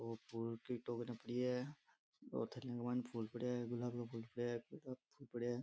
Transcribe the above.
और फूल की टोकरिया पड़ी है और थेले में फूल पड्या है गुलाब लो फूल पड्या है गेंदा का फूल पड्या है।